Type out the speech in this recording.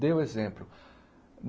Dei o exemplo.